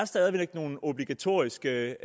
stadig væk er nogle obligatoriske